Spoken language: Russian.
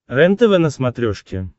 рентв на смотрешке